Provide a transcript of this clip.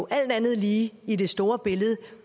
alt andet lige i det store billede